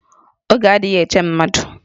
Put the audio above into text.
Oge adịghị eche mmadụ